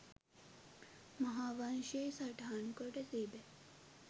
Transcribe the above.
මහාවංශයෙහි සටහන්කොට තිබේ.